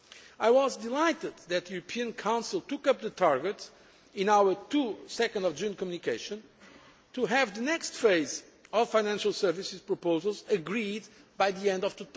I was delighted that the European Council took up the target in our 2 June communication to have the next phase of financial services proposals agreed by the end